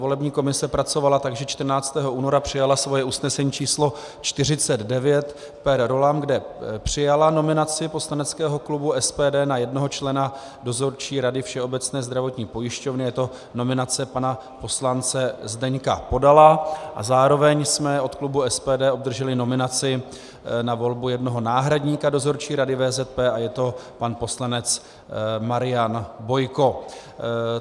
Volební komise pracovala tak, že 14. února přijala svoje usnesení číslo 49 per rollam, kde přijala nominaci poslaneckého klubu SPD na jednoho člena Dozorčí rady Všeobecné zdravotní pojišťovny, je to nominace pana poslance Zdeňka Podala, a zároveň jsme od klubu SPD obdrželi nominaci na volbu jednoho náhradníka Dozorčí rady VZP a je to pan poslanec Marian Bojko.